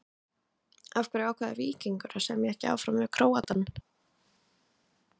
Af hverju ákvað Víkingur að semja ekki áfram við Króatann?